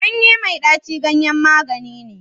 ganye mai daci ganyen magani ne